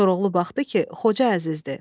Koroğlu baxdı ki, Xoca Əzizdir.